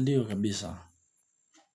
Ndiyo kabisa. Ha ha ha ha.